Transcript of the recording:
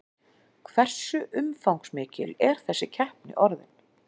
Hversu umfangsmikil er þessi keppni orðin?